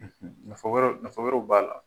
Nfa Wɛrɛw nafa wɛrɛw b'a la